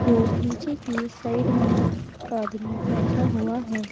और नीचे की साइड में एक आदमी बैठा हुआ है।